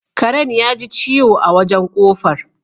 Karen yaji ciwo a wajen ƙofar